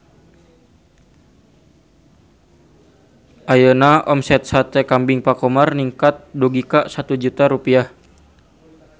Ayeuna omset Sate Kambing Pak Khomar ningkat dugi ka 1 juta rupiah